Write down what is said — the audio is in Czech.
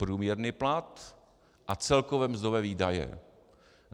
Průměrný plat a celkové mzdové výdaje.